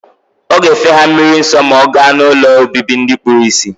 Oga efe ha mmiri nso ma oga na ụlọ obibi ndi kpuru isi.